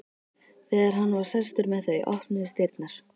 Þegar hann var sestur með þau opnuðust dyrnar.